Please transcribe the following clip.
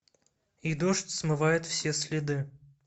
и дождь смывает все следы